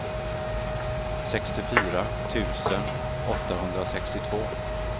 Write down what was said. sextiofyra tusen åttahundrasextiotvå